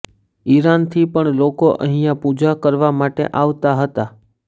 ઈરાનથી પણ લોકો અહિયાં પૂજા કરવા માટે આવતા હતા